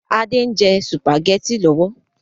Adé ń jẹ sùpàgétì lọ́wọ́